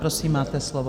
Prosím, máte slovo.